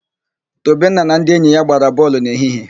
Tobenna na ndị enyi ya gbara bọọlụ n'ehihie.